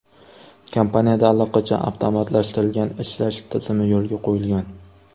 Kompaniyada allaqachon avtomatlashtirilgan ishlash tizimi yo‘lga qo‘yilgan.